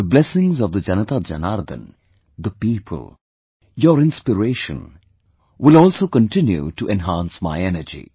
The blessings of the JanataJanardan, the people, your inspiration, will also continue to enhance my energy